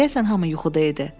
Deyəsən hamı yuxuda idi.